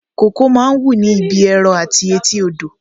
Kókò máa ń wù ní ibi ẹrọ àti etí odò